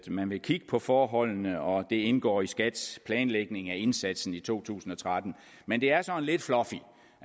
man vil kigge på forholdene og at det indgår i skats planlægning af indsatsen i to tusind og tretten men det er sådan lidt fluffy